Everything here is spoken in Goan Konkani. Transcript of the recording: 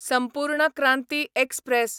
संपूर्ण क्रांती एक्सप्रॅस